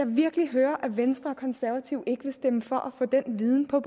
virkelig høre at venstre og konservative ikke vil stemme for at få den viden på